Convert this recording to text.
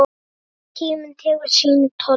En tíminn tekur sinn toll.